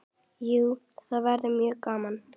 Jú, það væri mjög gaman.